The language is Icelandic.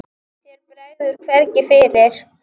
Þér bregður hvergi fyrir.